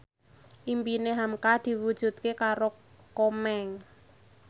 impine hamka diwujudke karo Komeng